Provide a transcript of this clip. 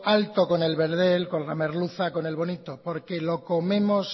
alto con el verdel con la merluza con el bonito porque lo comemos